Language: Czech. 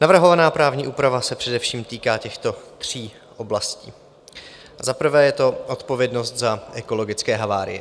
Navrhovaná právní úprava se především týká těchto tří oblastí: za prvé je to odpovědnost za ekologické havárie.